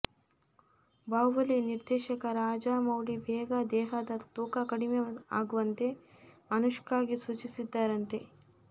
ಬಾಹುಬಲಿ ನಿರ್ದೇಶಕ ರಾಜಮೌಳಿ ಬೇಗ ದೇಹದ ತೂಕ ಕಡಿಮೆ ಆಗುವಂತೆ ಅನುಷ್ಕಾಗೆ ಸೂಚಿಸಿದ್ದಾರಂತೆ